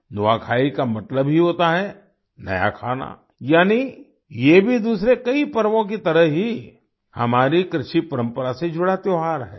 नुआखाई का मतलब ही होता है नया खाना यानी ये भी दूसरे कई पर्वों की तरह ही हमारी कृषि परंपरा से जुड़ा त्योहार है